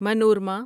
Manorama